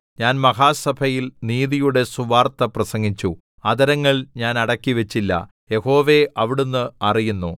ഞാൻ മഹാസഭയിൽ നീതിയുടെ സുവാർത്ത പ്രസംഗിച്ചു അധരങ്ങൾ ഞാൻ അടക്കിവച്ചില്ല യഹോവേ അവിടുന്ന് അറിയുന്നു